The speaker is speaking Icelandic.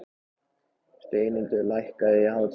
Steinhildur, lækkaðu í hátalaranum.